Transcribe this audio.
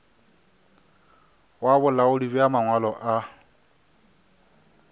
wa bolaodi bja mangwalo a